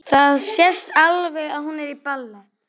Það sést alveg að hún er í ballett.